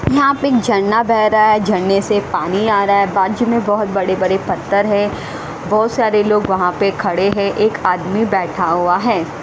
यहाँ पे एक झरना बह रहा है झरने से पानी आ रहा है बाजू में बहुत बड़े बड़े पत्थर है बहुत सारे लोग वहाँ पे खड़े हैं एक आदमी बैठा हुआ है।